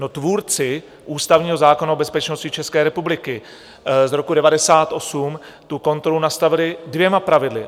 No, tvůrci ústavního zákona o bezpečnosti České republiky z roku 1998 tu kontrolu nastavili dvěma pravidly.